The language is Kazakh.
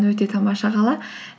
өте тамаша қала